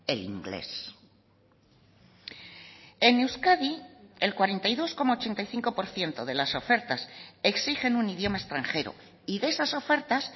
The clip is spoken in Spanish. el inglés en euskadi el cuarenta y dos coma ochenta y cinco por ciento de las ofertas exigen un idioma extranjero y de esas ofertas